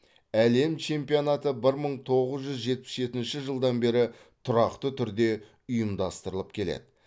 әлем чемпионаты бір мың тоғыз жүз жетпіс жетінші жылдан бері тұрақты түрде ұйымдастырылып келеді